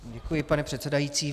Děkuji, pane předsedající.